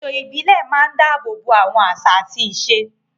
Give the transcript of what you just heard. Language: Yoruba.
Ètò ìbílẹ̀ máa ń dáàbò bo àwọn àṣà àti ìṣe.